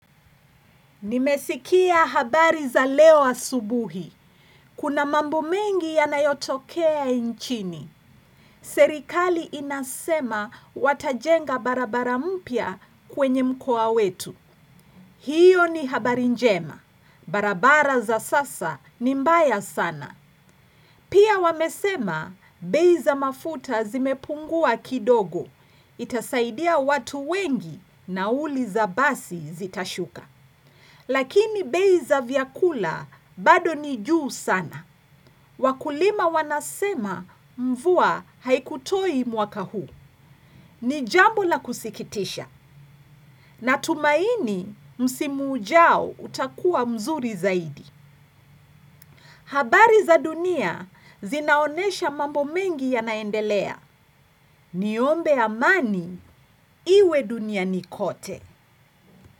Nimesikia habari za leo asubuhi. Kuna mambo mengi yanayotokea nchini. Serikali inasema watajenga barabara mpya kwenye mkoa wetu. Hiyo ni habari njema. Barabara za sasa ni mbaya sana. Pia wamesema bei za mafuta zimepungua kidogo. Itasaidia watu wengi nauli za basi zitashuka. Lakini bei za vyakula bado ni juu sana. Wakulima wanasema mvua haikutoi mwaka huu. Ni jambo la kusikitisha. Natumaini msimu ujao utakuwa mzuri zaidi. Habari za dunia zinaonesha mambo mengi yanaendelea. Niombe amani iwe duniani kote.